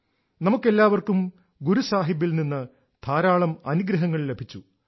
നമുക്കെല്ലാവർക്കും ഗുരു സാഹിബിൽ നിന്ന് ധാരാളം അനുഗ്രഹങ്ങൾ ലഭിച്ചു